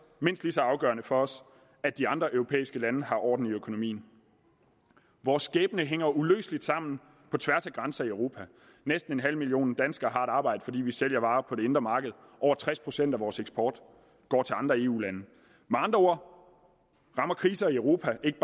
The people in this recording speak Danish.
mindst lige så afgørende for os at de andre europæiske lande har orden i økonomien vores skæbne hænger uløseligt sammen på tværs af grænser i europa næsten en halv million danskere har et arbejde fordi vi sælger varer på det indre marked over tres procent af vores eksport går til andre eu lande med andre ord rammer kriser i europa ikke